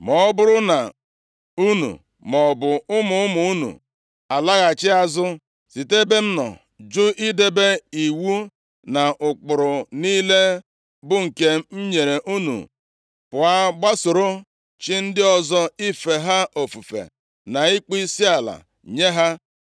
“Ma ọ bụrụ na unu, maọbụ ụmụ ụmụ unu alaghachi azụ, site nʼebe m nọ, jụ idebe iwu na ụkpụrụ niile bụ nke m nyere unu, pụọ gbasoro chi ndị ọzọ ife ha ofufe na ịkpọ isiala nye ha,